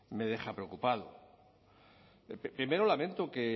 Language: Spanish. me deja preocupado primero lamento que